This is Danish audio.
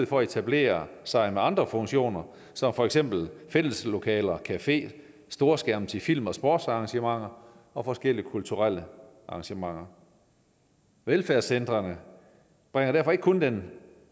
for at etablere sig med andre funktioner som for eksempel fælleslokaler cafeer storskærme til film og sportsarrangementer og forskellige kulturelle arrangementer velfærdscentrene bringer derfor ikke kun den